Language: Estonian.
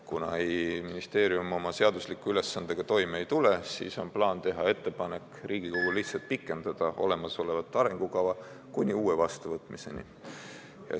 Kuna ministeerium oma seadusliku ülesandega toime ei tule, siis on plaan teha ettepanek Riigikogule pikendada olemasolevat arengukava kuni uue vastuvõtmiseni.